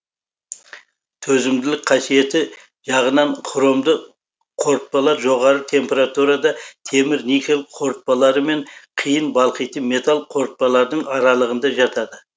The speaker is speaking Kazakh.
төзімділік қасиеті жағынан хромды қорытпалар жоғары температурада темір никель қорытпалары мен қиын балқитын металл қорытпалардың аралығында жатады